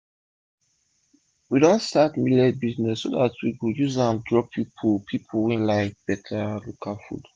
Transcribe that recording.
we don start millet business so dat we go use an draw pipu pipu wey like beta local food